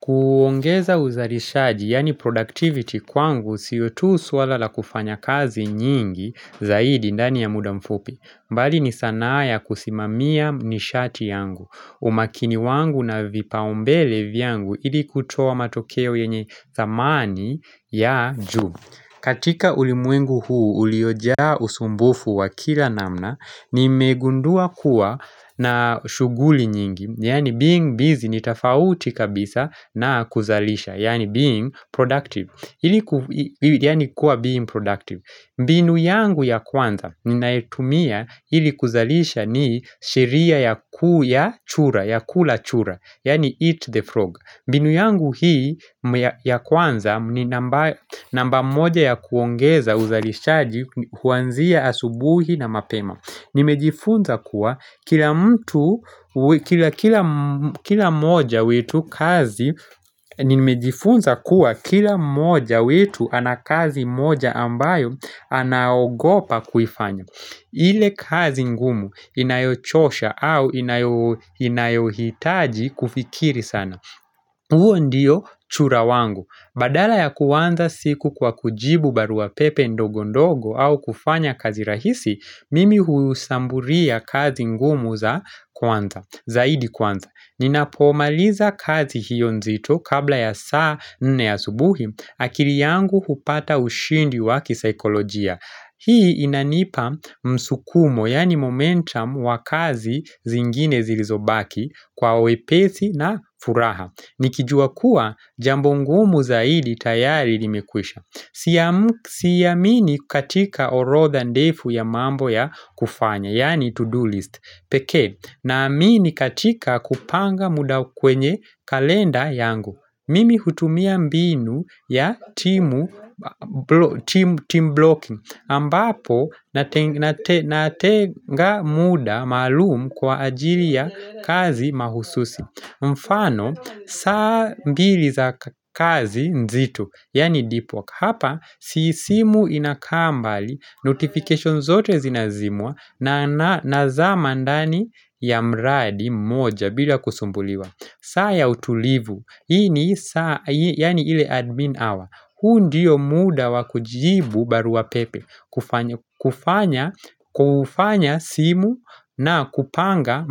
Kuongeza uzarishaji yaani productivity kwangu siyo tu swala la kufanya kazi nyingi zaidi ndani ya muda mfupi. Bali ni sanaa ya kusimamia nishati yangu. Umakini wangu na vipaumbele vyangu ili kutoa matokeo yenye dhamani ya juu. Katika ulimwengu huu, uliojaa usumbufu wa kila namna, nimegundua kuwa na shughuli nyingi, yani being busy, ni tafauti kabisa na kuzalisha, yaani being productive, yani kuwa being productive. Mbinu yangu ya kwanza ninaetumia hili kuzalisha ni sheria ya kula chura Yani eat the frog binu yangu hii ya kwanza ni namba moja ya kuongeza uzalishaji huanzia asubuhi na mapema Nimejifunza kuwa kila moja wetu ana kazi moja ambayo anaogopa kufanya ile kazi ngumu inayochosha au inayohitaji kufikiri sana huo ndiyo chura wangu Badala ya kuwanza siku kwa kujibu barua pepe ndogo ndogo au kufanya kazi rahisi Mimi hushambulia kazi ngumu za kwanza, zaidi kwanza Ninapomaliza kazi hiyo nzito kabla ya saa nne asubuhi akili yangu hupata ushindi wa kisaikolojia Hii inanipa msukumo yaani momentum wa kazi zingine zilizobaki kwa wepezi na furaha Nikijua kuwa jambo ngumu zaidi tayari limekwisha Siamini katika orodha ndefu ya mambo ya kufanya Yani to-do list peke Naamini katika kupanga muda kwenye kalenda yangu Mimi hutumia mbinu yaani team blocking ambapo natenga muda maalumu kwa ajili ya kazi mahususi mfano saa mbili za kazi nzito Yani DeepWalk, hapa si simu inakambali, notification zote zinazimwa na nazama ndani ya mradi moja bila kusumbuliwa saa ya utulivu, ini ya ni ile admin hour, huu ndiyo muda wakujibu barua pepe kufanya simu na kupanga